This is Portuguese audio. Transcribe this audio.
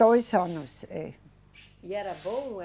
Dois anos, é. E era bom?